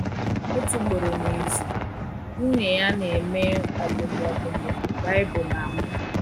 Otu ugboro n’izu, nwunye ya na-eme ọmụmụ ọmụmụ Baịbụl na mụ.